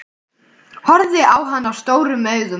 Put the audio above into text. Horfði á hana stórum augum.